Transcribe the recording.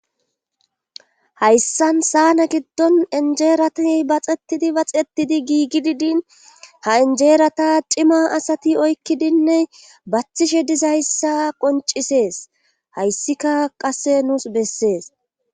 hayssan saana giddon injeeratiy baxetidi baxetidi giigi didin ha injeerata cima asati oykkidinne bathishe dizayssa qoncisees hayssika qasse nuus bessees